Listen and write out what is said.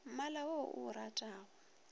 mmala wo o o ratago